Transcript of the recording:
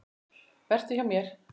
Vertu hjá mér.